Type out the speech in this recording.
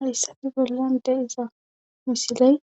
Hayssafe bollande iza misiley